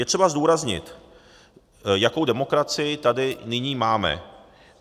Je třeba zdůraznit, jakou demokracii tady nyní máme.